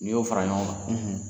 N'i y'o fara ɲɔgɔn kan ,